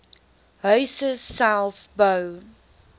huise self bou